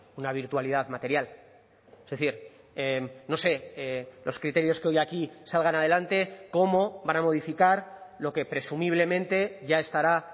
una virtualidad material es decir no sé los criterios que hoy aquí salgan adelante cómo van a modificar lo que presumiblemente ya estará